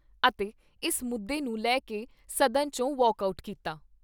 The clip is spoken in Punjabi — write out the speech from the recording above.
ਅਤੇ ਇਸ ਮੁੱਦੇ ਨੂੰ ਲੈ ਕੇ ਸਦਨ ' ਚੋਂ ਵਾਕ ਆਊਟ ਕੀਤਾ।